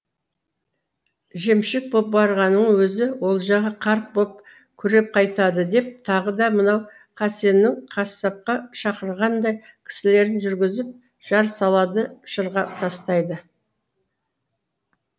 жемшік боп барғанның өзі олжаға қарық боп күреп қайтады деп тағы да мынау қасеннің қасапқа шақырғанындай кісілерін жүргізіп жар салады шырға тастайды